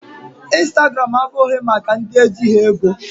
Instagram abụghị maka ndị ejighị ego.